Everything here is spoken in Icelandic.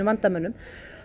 vandamönnum